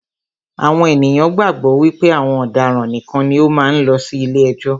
Àwọn ènìyàn gbàgbọ́ wípé àwọn ọ̀daràn nìkan ni ó máa ń lọ sí ilé ẹjọ́.